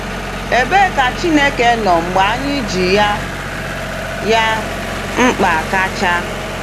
Ebee ka Chineke nọ mgbe anyị ji ya ya mkpa kacha?